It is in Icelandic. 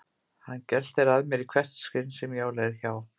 Hann geltir að mér í hvert sinn sem ég á leið hjá.